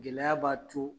Gɛlɛya b'a to